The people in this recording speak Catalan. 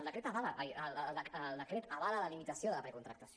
ai el decret avala la limitació de la precontractació